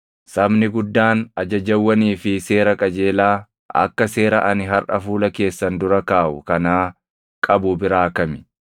Sabni guddaan ajajawwanii fi seera qajeelaa akka seera ani harʼa fuula keessan dura kaaʼu kanaa qabu biraa kami?